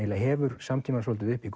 hefur samtímann svolítið upp í